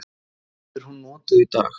Verður hún notuð í dag?